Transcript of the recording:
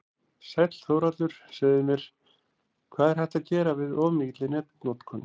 Sæll Þórhallur, segðu mér, hvað er hægt að gera við of mikilli netnotkun?